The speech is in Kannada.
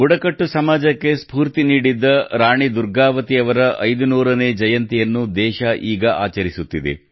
ಬುಡಕಟ್ಟು ಸಮಾಜಕ್ಕೆ ಸ್ಫೂರ್ತಿ ನೀಡಿದ್ದ ರಾಣಿ ದುರ್ಗಾವತಿ ಅವರ 500 ನೇ ಜಯಂತಿಯನ್ನು ದೇಶ ಈಗ ಆಚರಿಸುತ್ತಿದೆ